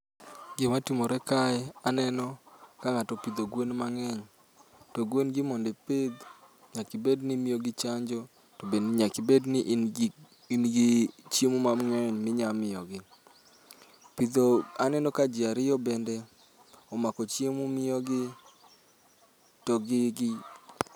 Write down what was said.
Gima timore kae, aneno ka ng'ato opidho gwen mang'eny to gwengi gi mondo ipidh nyaka ibedni ni imiyogi chanjo to bende nyaka ibedni ingi chiemo mang'eny mi nyamiyogi. pidho aneno ka ji ariyo bende omako chiemo miyogi to gi gi.